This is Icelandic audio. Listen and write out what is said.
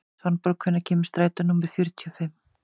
Svanborg, hvenær kemur strætó númer fjörutíu og fimm?